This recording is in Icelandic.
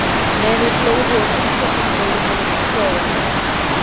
Menið glóði og gimsteinninn í miðjunni virtist loga.